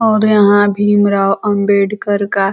और यहाँ भीम राव अम्बेडकर का --